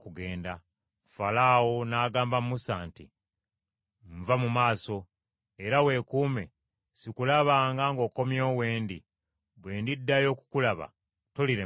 Falaawo n’agamba Musa nti, “Nva mu maaso! Era weekuume, sikulabanga ng’okomyewo w’endi; bwe ndiddayo okukulaba tolirema kufa.”